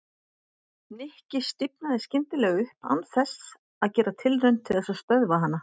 Nikki stífnaði skyndilega upp án þess að gera tilraun til þess að stöðva hana.